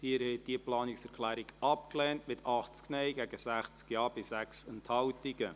Sie haben diese Planungserklärung abgelehnt, mit 80 Nein- gegen 60 Ja-Stimmen bei 6 Enthaltungen.